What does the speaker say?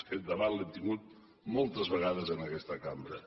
aquest debat l’hem tingut moltes vegades en aquesta cambra